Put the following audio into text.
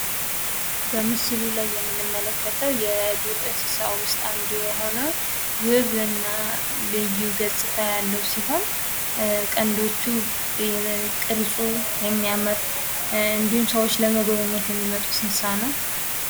በምስሉ ላይ የምንመለከተው የዱር እንስሳ ውስጥ የምንመለከተው ውብ እና ልዩ ገፅታ ያለው ሲሆን ቀንዶቹ ፣ቅርፁ የሚያምር እንዲሁም ሰዎች ለመጎብኘት የሚመርጡት እንስሳ ነው።